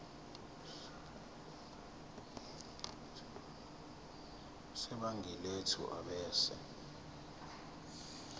sebhangi lethu ebese